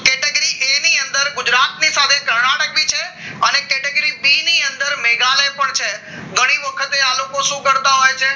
એની અંદર ગુજરાતની સાથે કર્ણાટક પણ છે અને કેટેગરી બી ની અંદર મેઘાલય પણ છે ઘણી વખતે આ લોકો શું કરતા હોય છે